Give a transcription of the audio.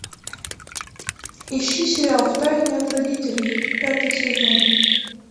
ищи сериал в тайне от родителей пятый сезон